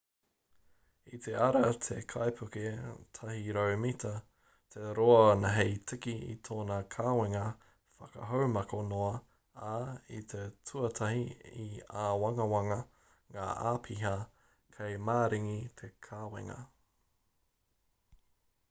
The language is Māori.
i te ara te kaipuke 100-mita te roa hei tiki i tōna kawenga whakahaumako noa ā i te tuatahi i āwangawanga ngā āpiha kei maringi te kawenga